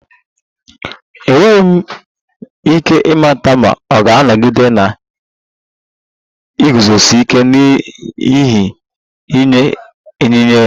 Enweghị m ike ịmata ma ọ ga-anọgide na-eguzosi ike n'ihe nye enyi ya